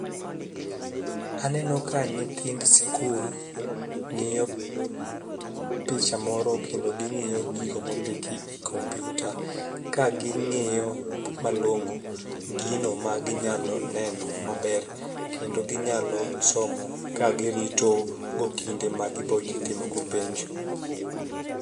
Aneno ka nyithind sikul ng'iyo picha moro kendo ging'iyo gigo mondiki e komputa ka ging'iyo malongo gino maginyalo neno maber, kendo ginyalo somo ka girito go kinde ma gibo timo go penj.